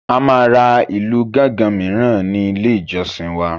A máa ra ìlú gánganmìíràn ní ilé ìjọsìn wa.